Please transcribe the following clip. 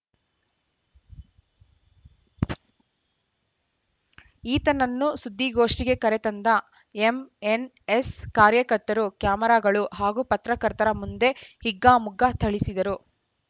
ಈತನನ್ನು ಸುದ್ದಿಗೋಷ್ಠಿಗೆ ಕರೆತಂದ ಎಂಎನ್‌ಎಸ್‌ ಕಾರ್ಯಕರ್ತರು ಕ್ಯಾಮರಾಗಳು ಹಾಗೂ ಪತ್ರಕರ್ತರ ಮುಂದೇ ಹಿಗ್ಗಾಮುಗ್ಗಾ ಥಳಿಸಿದರು